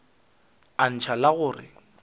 a ntšha la go re